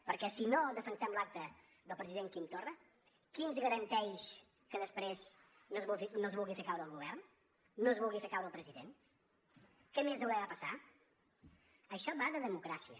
perquè si no defensem l’acta del president quim torra qui ens garanteix que després no es vulgui fer caure el govern no es vulgui fer caure el president què més haurà de passar això va de democràcia